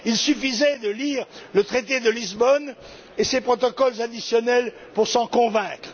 Il suffisait de lire le traité de Lisbonne et ses protocoles additionnels pour s'en convaincre.